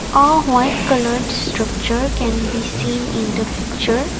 a white coloured structure can be seen in the picture.